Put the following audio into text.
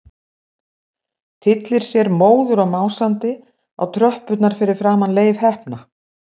Tyllir sér móður og másandi á tröppurnar fyrir framan Leif heppna.